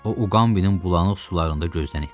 O Uqambinin bulanıq sularında gözdən itdi.